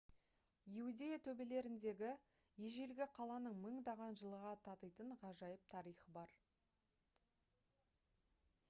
иудея төбелеріндегі ежелгі қаланың мыңдаған жылға татитын ғажайып тарихы бар